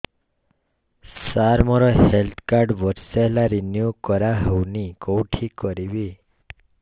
ସାର ମୋର health card ବର୍ଷେ ହେଲା ରିନିଓ କରା ହଉନି କଉଠି କରିବି